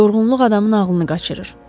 Yorğunluq adamın ağlını qaçırır.